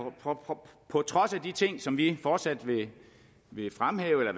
på trods af de ting som vi fortsat vil fremhæve og